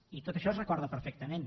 i tot això es recorda perfectament